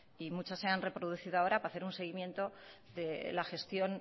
y muchas se han reproducido ahora para hacer un seguimiento de la gestión